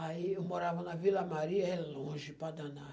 Aí eu morava na Vila Maria, é longe, para danar.